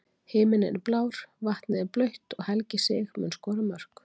Himininn er blár, vatnið er blautt og Helgi Sig mun skora mörk.